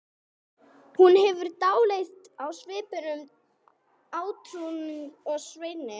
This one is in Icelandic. Hún hefur dálæti á svipuðum átrúnaðargoðum og Svenni.